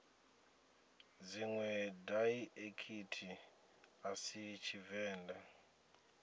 dziṅwe daiḽekithi a si tshivenḓa